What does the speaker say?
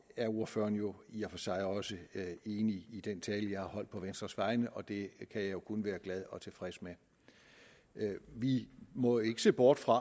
er ordføreren jo i og for sig også enig i den tale jeg har holdt på venstres vegne og det kan jeg kun være glad og tilfreds med vi må ikke se bort fra